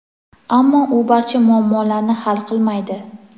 ammo u barcha muammolarni hal qilmaydi.